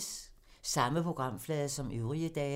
Samme programflade som øvrige dage